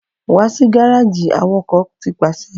Wá si gareji Awakọ ti paṣẹ